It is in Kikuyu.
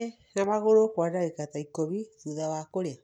Thiĩ na magũrũ kwa ndagĩka ta ikũmi thutha wa kũrĩa.